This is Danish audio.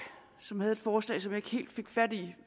som havde et forslag som jeg ikke helt fik fat i